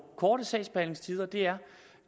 korte sagsbehandlingstider det er